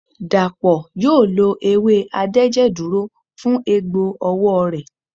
Dàpọ̀ yóò lo ewé adẹ́jẹ̀dúró fún egbò ọwọ́ rẹ̀.